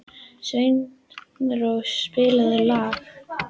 Sveinrós, spilaðu lag.